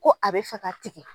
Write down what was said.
Ko a bɛ fɛ ka tigɛ.